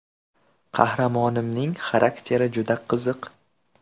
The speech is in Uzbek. Qahramonimning xarakteri juda qiziq.